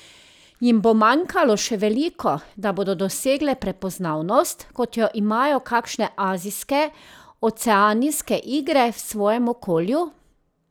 Jim bo manjkalo še veliko, da bodo dosegle prepoznavnost, kot jo imajo kakšne azijske, oceanijske igre v svojem okolju?